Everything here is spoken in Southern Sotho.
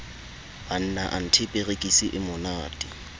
banna anthe perekisi e monate